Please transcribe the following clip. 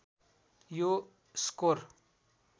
यो स्कोर